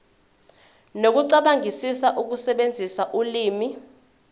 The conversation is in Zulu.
nokucabangisisa ukusebenzisa ulimi